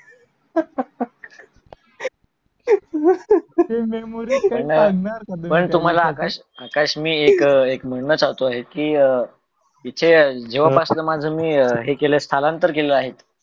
आकाश तुम्हाल मी आकाश एक मिनंत सांगतो आसतो कि अं इथ जेव्हा पासून माझ मी हे स्थानान्तर केल आहेत